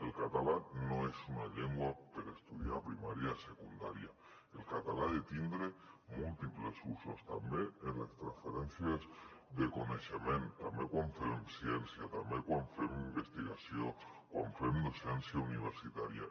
el català no és una llengua per estudiar a primària i a secundària el català ha de tindre múltiples usos també en les transferències de coneixement també quan fem ciència també quan fem investigació quan fem docència universitària